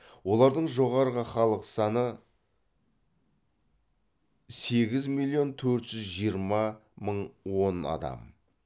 олардың жоғарғы халық саны сегіз миллион төрт жүз жиырма мың он адам